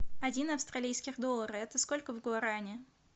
один австралийских доллара это сколько в гуарани